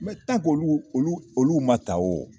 olu olu olu ma ta wo